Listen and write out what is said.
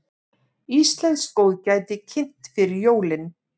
Íslenskt góðgæti kynnt fyrir jólin